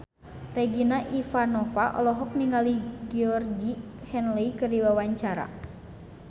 Regina Ivanova olohok ningali Georgie Henley keur diwawancara